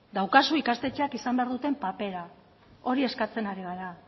daukazu ikastetxeek izan behar duten papera hori eskatzen ari gara